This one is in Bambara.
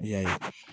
I y'a ye